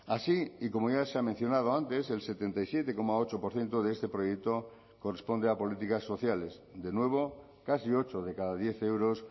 así y como ya se ha mencionado antes el setenta y siete coma ocho por ciento de este proyecto corresponde a políticas sociales de nuevo casi ocho de cada diez euros